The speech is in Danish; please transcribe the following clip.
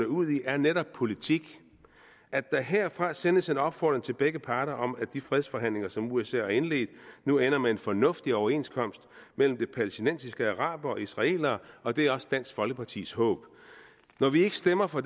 ud i er netop politik at der herfra sendes en opfordring til begge parter om at de fredsforhandlinger som usa har indledt nu ender med en fornuftig overenskomst mellem de palæstinensiske arabere og israelere og det er også dansk folkepartis håb når vi ikke stemmer for